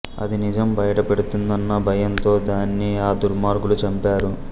అది నిజం బయట పెడుతుందన్న భయంతో దానిని ఆ దుర్మార్గులు చంపారు